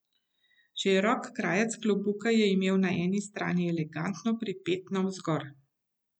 Širok krajec klobuka je imel na eni strani elegantno pripet navzgor.